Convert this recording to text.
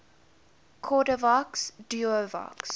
cordavox duovox